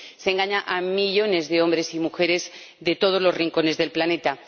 Se engaña a millones de hombres y mujeres de todos los rincones del planeta.